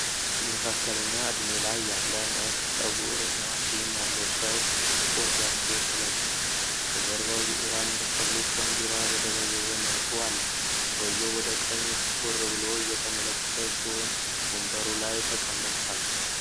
መካከለኛ ዕድሜ ላይ ያለ ነጭ ፀጉር እና ጢም ያለው ሰው ጥቁር ጃኬት ለብሷል። ከጀርባው የኢራን ሪፐብሊክ ባንዲራ በደበዘዘ መልኩ አለ። ሰውዬው ወደ ቀኝ ትኩር ብሎ እየተመለከተ ሲሆን፣ ወንበሩ ላይ ተቀምጧል።